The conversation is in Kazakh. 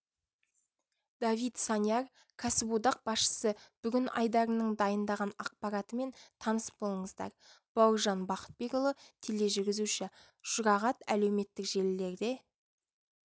давид саньяр кәсіподақ басшысы бүгін айдарының дайындаған ақпаратымен таныс болыңыздар бауыржан бақытбекұлы тележүргізуші жұрағат әлеуметтік желілерде